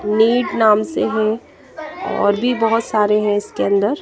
NEET नाम से हैं और भी बहुत सारे हैं इसके अंदर--